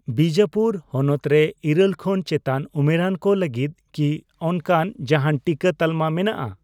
ᱵᱤᱡᱟᱹᱯᱩᱨ ᱦᱚᱱᱚᱛ ᱨᱮ ᱤᱨᱟᱹᱞ ᱠᱷᱚᱱ ᱪᱮᱛᱟᱱ ᱩᱢᱮᱨᱟᱱ ᱠᱚ ᱞᱟᱹᱜᱤᱫ ᱠᱤ ᱚᱱᱠᱟᱱ ᱡᱟᱦᱟᱱ ᱴᱤᱠᱟᱹ ᱛᱟᱞᱢᱟ ᱢᱮᱱᱟᱜᱼᱟ ?